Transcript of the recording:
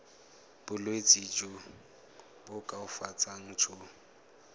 bolwetsi jo bo koafatsang jo